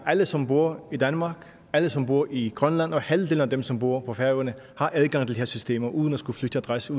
alle som bor i danmark alle som bor i grønland og halvdelen af dem som bor på færøerne adgang til de her systemer uden at skulle flytte adresse